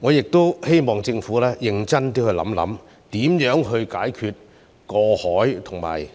我希望政府認真考慮如何解決過海和